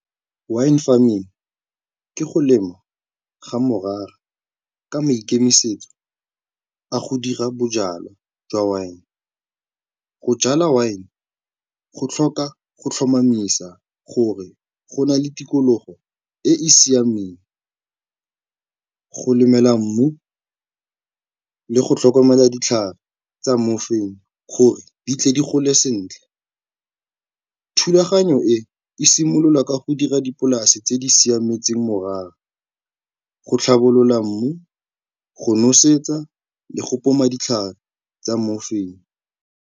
Wine farming ke go lengwa ga morara ka maikemisetso a go dira bojalwa jwa wine. Go jala wine go tlhoka go tlhomamisa gore go na le tikologo e e siameng, go lemela mmu le go tlhokomela ditlhare tsa gore di tle di gole sentle. Thulaganyo e, e simololwa ka go dira dipolase tse di siametseng morara, go tlhabolola mmu, go nosetsa le go poma ditlhare tsa .